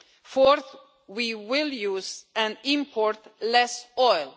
Fourth, we will use and import less oil.